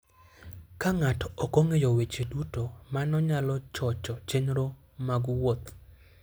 Ka ng'ato ok ong'eyo weche duto, mano nyalo chocho chenro mag wuoth.